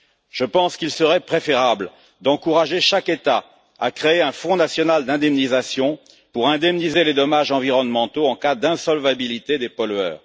Je pense qu'il serait préférable d'encourager chaque État à créer un fonds national d'indemnisation pour indemniser les dommages environnementaux en cas d'insolvabilité des pollueurs.